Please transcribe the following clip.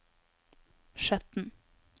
Skjetten